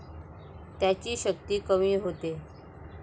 त्याची शक्ती कमी होते.